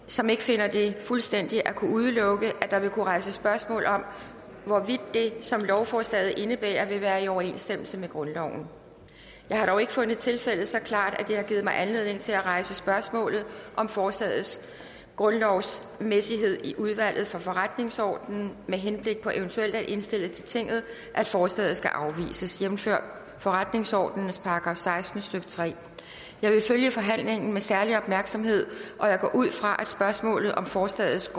som ikke finder fuldstændig at kunne udelukke at der vil kunne rejses spørgsmål om hvorvidt det som lovforslaget indebærer vil være i overensstemmelse med grundloven jeg har dog ikke fundet tilfældet så klart at det har givet mig anledning til at rejse spørgsmålet om forslagets grundlovsmæssighed i udvalget for forretningsordenen med henblik på eventuelt at indstille til tinget at forslaget skal afvises jævnfør forretningsordenens § seksten stykke tredje jeg vil følge forhandlingen med særlig opmærksomhed og jeg går ud fra at spørgsmålet om forslagets